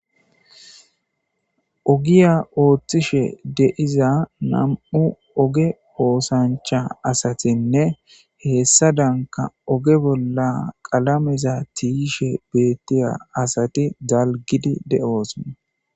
ogiya ooththishe de'iza nam7u oge oosancha asatinne heessadanka oge bolla qalameza tiishe beettiya asati dalgidi de7oosona